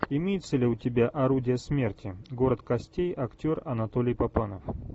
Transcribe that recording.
имеется ли у тебя орудия смерти город костей актер анатолий папанов